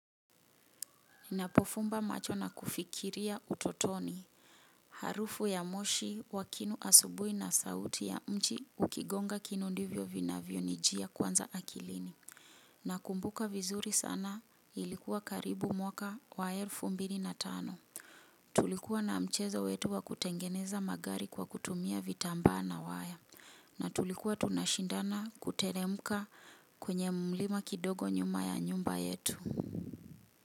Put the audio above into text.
Ninapofumba macho na kufikiria utotoni. Harufu ya moshi wakinu asubui na sauti ya mchi ukigonga kinundivyo vinavyo nijia kwanza akilini. Na kumbuka vizuri sana ilikuwa karibu mwaka wa elfu mbili na tano. Tulikuwa na mchezo wetu wa kutengeneza magari kwa kutumia vitambaa na waya. Na tulikuwa tunashindana kuteremuka kwenye mlima kidogo nyuma ya nyumba yetu.